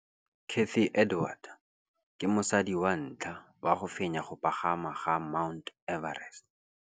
Cathy Odowd ke mosadi wa ntlha wa go fenya go pagama ga Mt Everest.